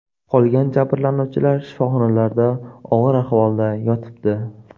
Qolgan jabrlanuvchilar shifoxonlarda og‘ir ahvolda yotibdi.